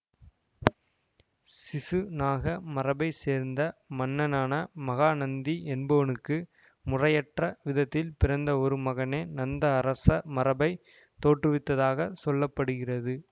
சிசுநாக மரபை சேர்ந்த மன்னனான மகாநந்தி என்பவனுக்கு முறையற்ற விதத்தில் பிறந்த ஒரு மகனே நந்த அரச மரபைத் தோற்றுவித்ததாகச் சொல்ல படுகிறது